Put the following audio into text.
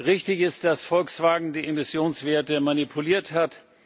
Richtig ist, dass Volkswagen die Emissionswerte manipuliert hat.